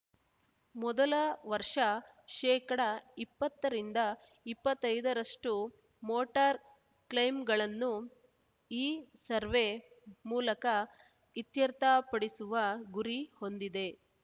ಮೊದಲ ವರ್ಷ ಶೇಕಡ ಇಪ್ಪತ್ತ ರಿಂದ ಇಪ್ಪತ್ತೈದರಷ್ಟು ಮೋಟಾರ್ ಕ್ಲೈಮ್‌ಗಳನ್ನು ಇಸರ್ವೆ ಮೂಲಕ ಇತ್ಯರ್ಥಪಡಿಸುವ ಗುರಿ ಹೊಂದಿದೆ